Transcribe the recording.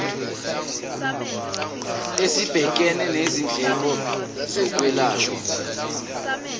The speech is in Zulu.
esibhekene nezindleko zokwelashwa